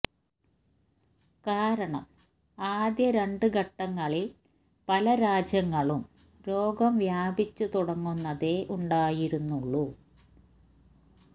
കാരണം ആദ്യ രണ്ട് ഘട്ടങ്ങളില് പല രാജ്യങ്ങളും രോഗം വ്യാപിച്ചു തുടങ്ങുന്നതേ ഉണ്ടായിരുന്നുള്ളൂ